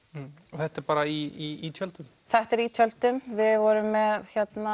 og þetta er bara í tjöldum þetta er í tjöldum við vorum með